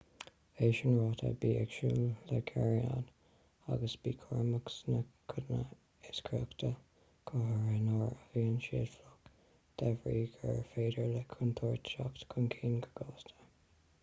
é sin ráite bí ag súil le gearranáil agus bí cúramach sna codanna is crochta go háirithe nuair a bhíonn siad fliuch de bhrí gur féidir le contúirt teacht chun cinn go gasta